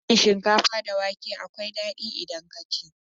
Hadin shinkafa da wake akwai dadi idan ka ci.